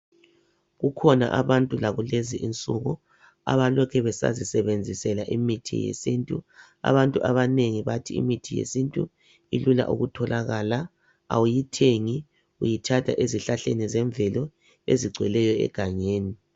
Kukhona abantu lakulezinsuku abalokhu besazisebenzisela imithi yesintu abantu abanengi bathi imithi yesintu ilula ukutholakala awuyithengi uyithatha ezihlahleni zemvelo ezigcweleyo egangeni